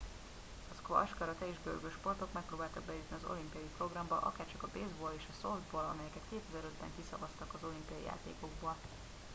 a squash karate és görgősportok megpróbáltak bejutni az olimpiai programba akárcsak a baseball és a softball amelyeket 2005 ben kiszavaztak az olimpiai játékokból